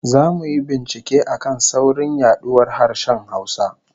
Zamu yi bincike a kan saurin yaduwar harshen Hausa